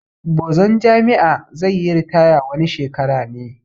Bozan jami'a zai yi ritaya wani shekara ne